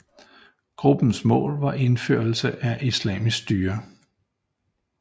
Gruppens mål var indførelse af islamisk styre